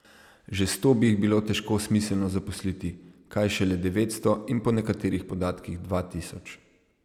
Že sto bi jih bilo težko smiselno zaposliti, kaj šele devetsto in po nekaterih podatkih dva tisoč.